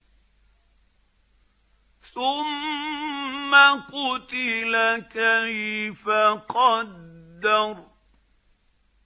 ثُمَّ قُتِلَ كَيْفَ قَدَّرَ